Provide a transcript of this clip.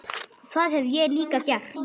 Það hef ég líka gert.